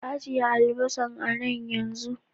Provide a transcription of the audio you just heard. Ka ajeye albasan a nan yanzu.